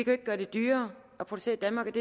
jo ikke gøre det dyrere at producere i danmark